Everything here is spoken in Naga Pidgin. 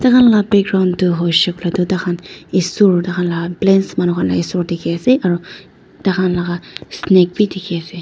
ta khan laka background tu hoishey koilae tu tahan esor tahan la plains manu khanla esor dikhiase aro takhan laga snake bi dikhiase.